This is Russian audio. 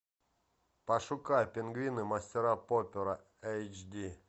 пошукай пингвины мистера поппера эйч ди